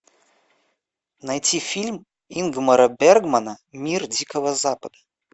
найти фильм ингмара бергмана мир дикого запада